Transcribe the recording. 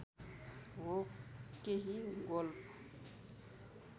हो केही गोल्फ